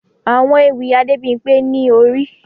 Àwọn ewì Adebimpe ni Ori